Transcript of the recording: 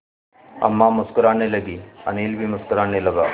अम्मा मुस्कराने लगीं अनिल भी मुस्कराने लगा